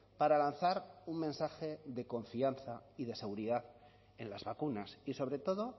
para lanzar un mensaje de confianza y de seguridad en las vacunas y sobre todo